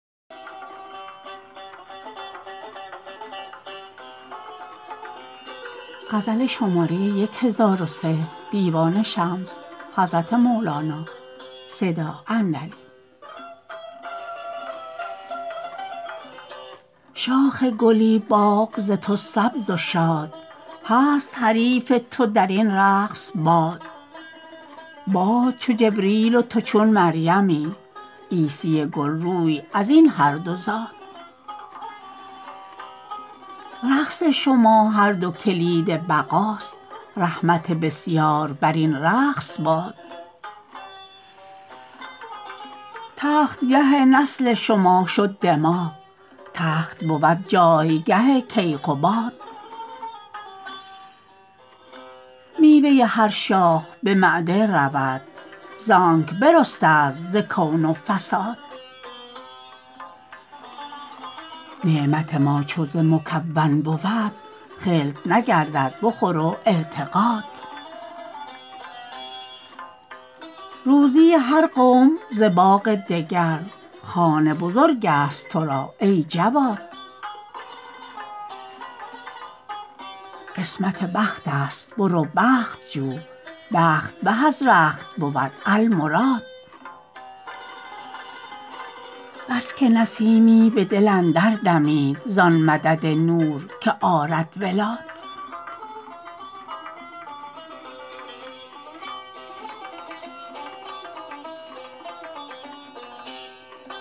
شاخ گلی باغ ز تو سبز و شاد هست حریف تو در این رقص باد باد چو جبریل و تو چون مریمی عیسی گل روی از این هر دو زاد رقص شما هر دو کلید بقا ست رحمت بسیار بر این رقص باد تخت گه نسل شما شد دماغ تخت بود جایگه کیقباد میوه هر شاخ به معده رود زانک برسته ست ز کون و فساد نعمت ما چو ز مکون بود خلط نگردد به خور و ارتقاد روزی هر قوم ز باغ دگر خوان بزرگ ست تو را ای جواد قسمت بخت ست برو بخت جو بخت به از رخت بود المراد بس که نسیمی به دل اندر دمید ز آن مدد نور که آرد ولاد